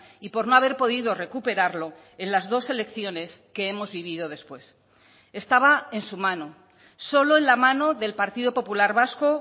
y por no haber podido recuperarlo en las dos elecciones que hemos vivido después estaba en su mano solo en la mano del partido popular vasco